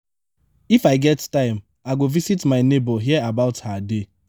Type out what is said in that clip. if i get time i go visit my neighbour hear about her day.